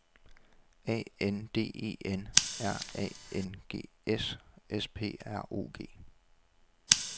A N D E N R A N G S S P R O G